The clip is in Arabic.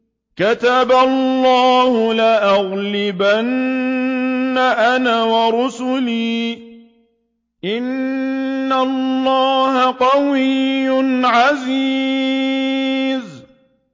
كَتَبَ اللَّهُ لَأَغْلِبَنَّ أَنَا وَرُسُلِي ۚ إِنَّ اللَّهَ قَوِيٌّ عَزِيزٌ